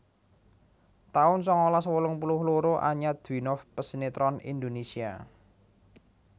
taun sangalas wolung puluh loro Anya Dwinov pesinètron Indonesia